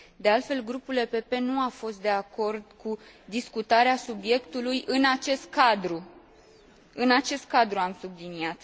De altfel, Grupul PPE nu a fost de acord cu discutarea subiectului în acest cadru, în acest cadru am subliniat.